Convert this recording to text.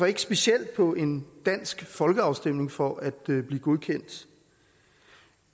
ikke specielt på en dansk folkeafstemning for at blive godkendt